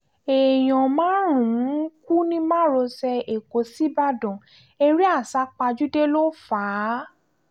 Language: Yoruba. èèyàn márùn-ún kú ní márosẹ̀ ẹ̀kọ́ síbàdàn eré àsápajúdé ló fà á